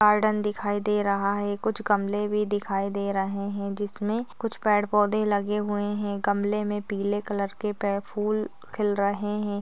Garden दिखाई दे रहा है कुछ गमले भी दिखाई दे रहे है जिसमे कुछ पेड़ पौधे लगे हुए है गमले मे पीले कलर के पे फुल खिल रहे है।